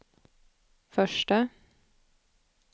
förste